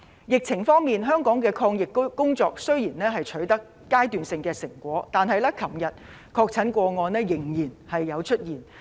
疫情方面，香港的抗疫工作雖然已取得階段性成果，但昨天仍然出現確診個案。